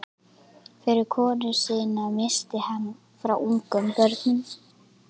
Fyrri konu sína missti hann frá ungum börnum.